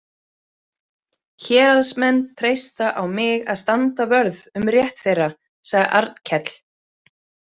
Héraðsmenn treysta á mig að standa vörð um rétt þeirra, sagði Arnkell.